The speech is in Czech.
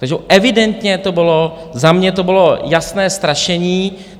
Takže evidentně to bylo za mě to bylo jasné strašení.